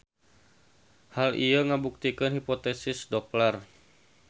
Hal ieu ngabuktikeun hipotesis Dopler.